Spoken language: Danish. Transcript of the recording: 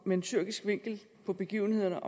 med en tyrkisk vinkel på begivenhederne